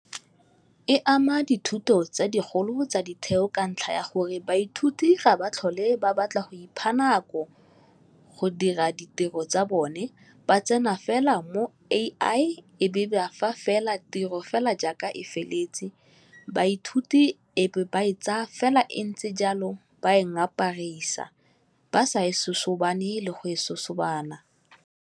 E ama dithuto tsa digolo tsa ditheo ka ntlha ya gore baithuti ga ba tlhole ba batla go ipha nako go dira ditiro tsa bone ba tsena fela mo A_I e be ba fa fela tiro fela jaaka e feleletse, baithuti e be ba e tsaya fela e ntse jalo ba e ngaparisa ba sa e sosobane le go e sosobana.